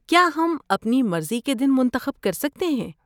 کیا یم اپنی مرضی کے دن منتخب کر سکتے ہیں؟